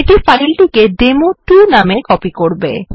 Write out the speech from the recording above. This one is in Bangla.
এটি ফাইলটিকে ডেমো2 নাম এ কপি করবে